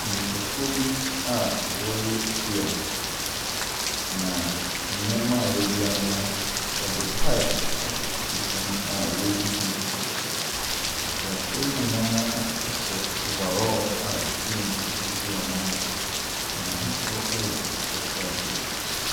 Nnipakuo bi a wɔreyɛ kua. Ma nneɛma a wɔadua no, wɔde pipe atotototo mu a wɔregu so nsuo. Akuafoɔ yi nyinaa ahye overall a ɛfiri wɔn ti kɔsi wɔn nan ase, na n'ahosuo yɛ akokɔ sradeɛ.